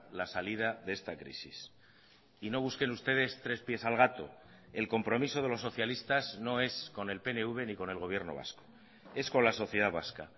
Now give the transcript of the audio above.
la salida de esta crisis y no busquen ustedes tres pies al gato el compromiso de los socialistas no es con el pnv ni con el gobierno vasco es con las sociedad vasca